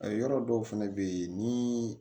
Yɔrɔ dɔw fɛnɛ bɛ ye ni